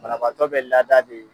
banabaatɔ bɛ lada de